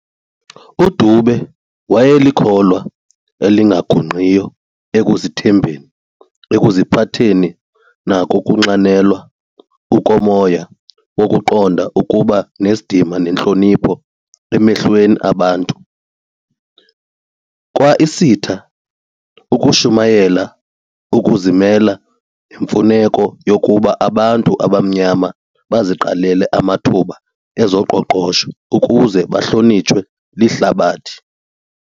UDube wayelikholwa elingagungqiyo ekuzithembeni, ekuziphatheni nangokunxanelwa ukomoya wokuqonda ukuba nesidima nentlonipho emehlweni abantu. Kw"Isita" ushumayela ukuzimela nemfuneko yokuba abantu abamnyama baziqalele amathuba ezoqoqosho ukuze bahlonitshwe lihlabathi.